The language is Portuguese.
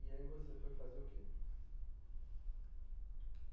E aí você foi fazer o quê?